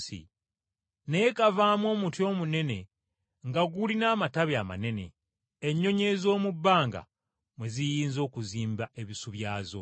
naye kavaamu omuti omunene nga gulina amatabi amanene, ennyonyi ez’omu bbanga mwe ziyinza okuzimba ebisu byazo.”